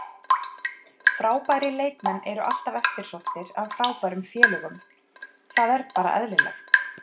Frábærir leikmenn eru alltaf eftirsóttir af frábærum félögum, það er bara eðlilegt.